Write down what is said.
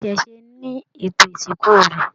Iṣẹṣe ní ètò ìsìnkú rẹ.